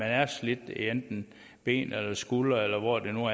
er slidt i enten ben eller skuldre eller hvor det nu